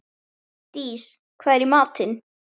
Dís, hvað er í matinn?